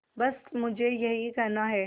बस मुझे यही कहना है